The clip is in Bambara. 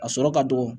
A sɔrɔ ka dɔgɔ